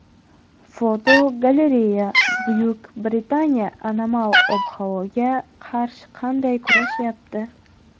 Fotogalereya: Buyuk Britaniya anomal ob-havoga qarshi qanday kurashyapti?.